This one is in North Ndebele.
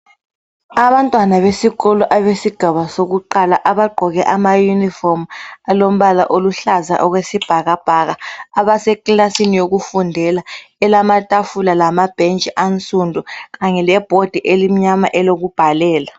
Abantwana besikolo abesigaba sokuqala abagqoke ama yunifomi alombala oluhlaza okwesibhakabhaka ,abase kilasini yokufundela elamatafula lamabhentshi ansundu kanye lebhodi elimnyama elokubhalela.